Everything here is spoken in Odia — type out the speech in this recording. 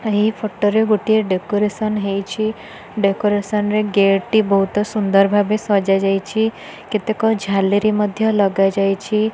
ଏହି ଫଟୋ ରେ ଗୋଟିଏ ଡେକୋରେସନ୍ ହେଇଛି ଡେକୋରେସନ୍ ରେ ଗେଟ୍ ଟି ବହୁତ ସୁନ୍ଦର ଭାବରେ ସଜା ଯାଇଛି କେତେକ ଝାଲେରୀ ମଧ୍ୟ ଲଗାଯାଇଛି।